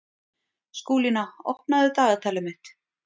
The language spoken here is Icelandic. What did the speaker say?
Skúlína, opnaðu dagatalið mitt.